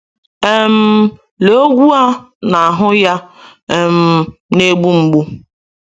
um Lee ogwu a n’ahụ ya um na-egbu mgbu!